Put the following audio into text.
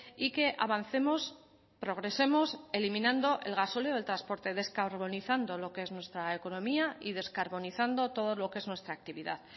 y que avancemos progresemos eliminando el gasóleo del transporte descarbonizando lo que es nuestra economía y descarbonizando todo lo que es nuestra actividad